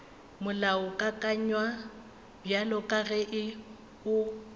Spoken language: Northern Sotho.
molaokakanywa bjalo ka ge o